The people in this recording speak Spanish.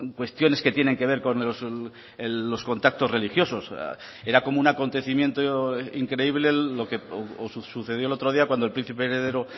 cuestiones que tienen que ver con los contactos religiosos era como un acontecimiento increíble lo que sucedió el otro día cuando el príncipe heredero